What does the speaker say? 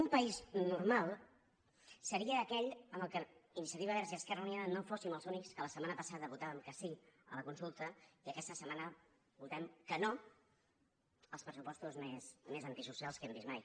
un país normal seria aquell en el qual iniciativa verds i esquerra unida no fóssim els únics que la setmana passada votàvem que sí a la consulta i aquesta setmana votem que no als pressupostos més antisocials que hem vist mai